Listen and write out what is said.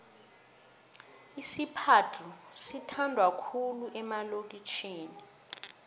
isiphadhlu sithandwa khulu emalokitjhini